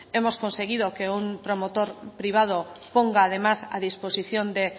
hemos conseguido que un promotor privado ponga además a disposición de